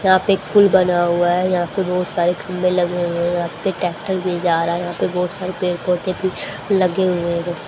यहां पे एक पूल बना हुआ है यहां पे बहुत सारे खंबे लगे हुए हैं यहां पे ट्रैक्टर भी जा रहा है यहां पे बहुत सारे पेड़ पौधे भी लगे हुए हैं।